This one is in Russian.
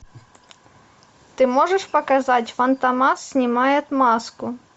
ты можешь показать фантомас снимает маску